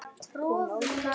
Hún nálgast mig.